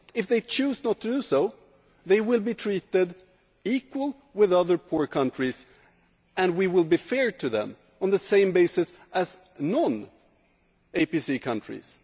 If they choose not to do so, they will be treated equally with other poor countries and we will be fair to them on the same basis as non ACP countries.